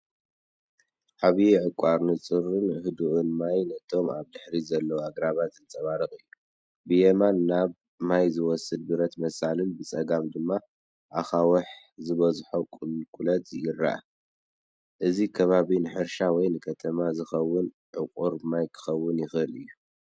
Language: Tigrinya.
ዓቢይ ዕቋር፣ ንጹርን ህዱእን ማይ ነቶም ኣብ ድሕሪት ዘለዉ ኣግራብ ዘንጸባርቕ እዩ። ብየማን ናብ ማይ ዝወስድ ብረት መሳልል፡ ብጸጋም ድማ ኣኻውሕ ዝበዝሖ ቁልቁለት ይርአ። እዚ ከባቢ ንሕርሻ ወይ ንከተማ ዝኸውን ዕቑር ማይ ክኸውን ይኽእል እዩ።